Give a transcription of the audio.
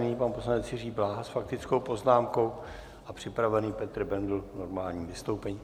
Nyní pan poslanec Jiří Bláha s faktickou poznámkou a připravený Petr Bendl k normálnímu vystoupení.